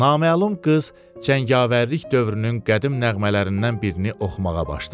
Naməlum qız cəngavərlik dövrünün qədim nəğmələrindən birini oxumağa başladı.